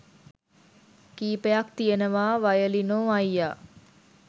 කීපයක් තියෙනවා වයලිනෝ අයියා